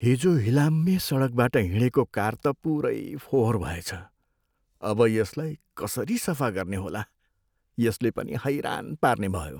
हिजो हिलाम्मे सडकबाट हिँडेको कार त पुरै फोहोर भएछ। अब यसलाई कसरी सफा गर्ने होला? यसले पनि हैरान पार्नेभयो!